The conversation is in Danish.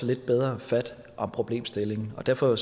lidt bedre fat om problemstillingen derfor